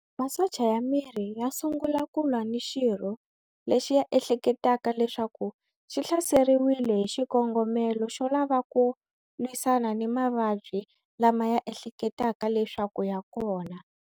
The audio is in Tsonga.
Masocha ya miri ya sungula ku lwa ni xirho lexi ya ehleketaka leswaku xi hlaseriwile hi xikongomelo xo lavaku lwisana ni mavabyi lama ya ehleketaka leswaku ya kona.